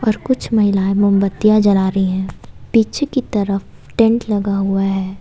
और कुछ महिलाएं मोमबत्तियां जला रही हैं पीछे की तरफ टेंट लगा हुआ है।